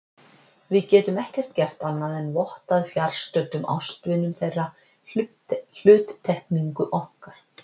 Við getum ekkert gert annað en vottað fjarstöddum ástvinum þeirra hluttekningu okkar.